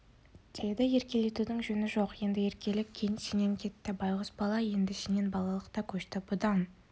деді еркелетудің жөні жоқ енді еркелік сенен кетті байғұс бала енді сенен балалық та көшті бұдан